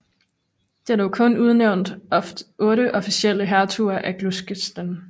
Det er dog kun udnævnt otte officielle hertuger af Gloucester